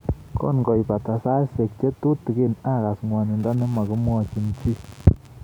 Kongoibata saisyek che tutigiin akas ng'wonindo ne magimwochin chii